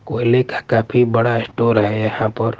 कोयले का काफी बड़ा स्टोर हैं यहाँ पर--